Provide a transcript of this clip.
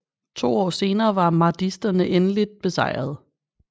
To år senere var mahdisterne endeligt besejrede